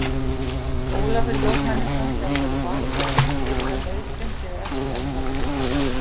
Ólafur Jóhannesson, þjálfari Vals, telur að meiðslin séu ekki alvarleg.